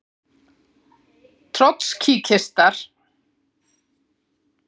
Trotskíistar vildu aftur á móti ráðast að sjálfu kúgunartækinu: prófunum.